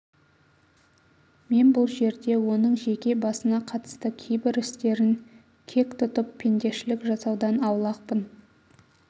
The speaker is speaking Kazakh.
мен бұл жерде оның жеке басына қатысты кейбір істерін кек тұтып пендешілік жасаудан аулақпын